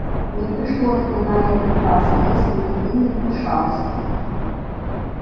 не пришлось бы на этот раз если бы ты не вмешался